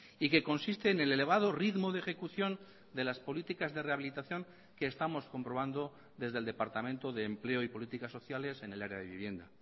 y que consiste en el elevado ritmo de ejecución de las políticas de rehabilitación que estamos comprobando desde el departamento de empleo y políticas sociales en el área de vivienda